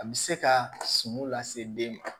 A bɛ se ka suman lase den ma